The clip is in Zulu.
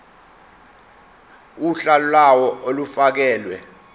uhla lawo olufakelwe